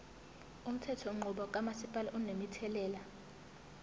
umthethonqubo kamasipala unomthelela